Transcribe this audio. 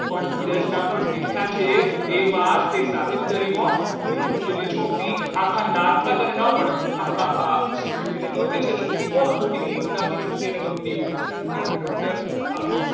પણ ધીરજ ના ફળ મીઠા છે એ વાત તે સાબિત કરી હો લીલું જેવી છોકરી આકા નાતમાં તને ન મળે હા હા હા એટલે એને ગમે છે ને છોકરી કોણ તો ક્યાં નીલુ નાની છોકરી અને ગમતી હોય છે એટલે doctor આમ